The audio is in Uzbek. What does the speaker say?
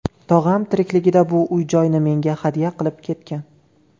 Tog‘am tirikligida bu uy-joyni menga hadya qilib ketgan.